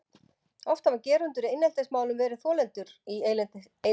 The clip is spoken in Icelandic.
Oft hafa gerendur í eineltismálum verið þolendur í eineltismálum.